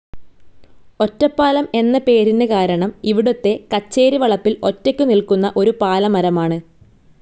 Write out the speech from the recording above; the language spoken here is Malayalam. ഒറ്റപ്പാലം എന്ന പേരിന്നു കാരണം ഇവിടത്തെ കച്ചേരി വളപ്പിൽ ഒറ്റക്കു നിൽക്കുന്ന ഒരു പാല മരമാണ്.